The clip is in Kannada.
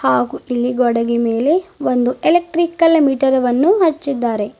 ಹಾಗು ಇಲ್ಲಿ ಗೋಡೆಗೆ ಮೇಲೆ ಒಂದು ಎಲೆಕ್ಟ್ರಿಕಲ್ ಮೀಟರ್ ವನ್ನು ಹಚ್ಚಿದ್ದಾರೆ.